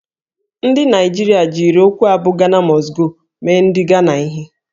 Ndị Naijiria jiri okwu a bụ "Ghana Must Go" mee ndị Ghana ihe